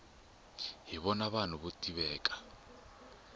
hi vona vanhu vo tiveka